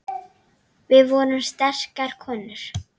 Við vorum sterkar konur.